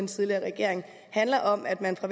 tidligere regering handler om at man fra